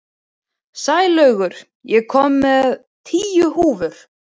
Sælaugur, ég kom með tíu húfur!